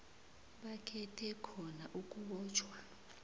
bakhethe khona ukubotjhwa